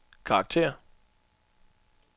karakter